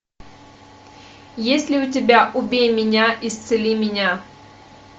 есть ли у тебя убей меня исцели меня